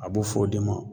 A b'o f'o de ma